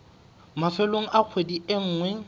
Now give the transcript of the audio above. mafelong a kgwedi e nngwe